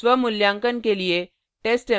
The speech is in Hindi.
स्वमूल्यांकन के लिए